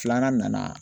Filanan nana